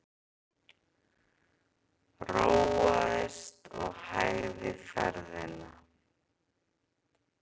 Róaðist og hægði ferðina.